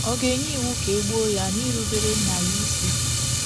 Ọ̀ ga-enye iwu ka e gbuo ya n’irubere nna ya isi?